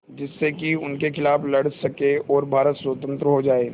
जिससे कि उनके खिलाफ़ लड़ सकें और भारत स्वतंत्र हो जाये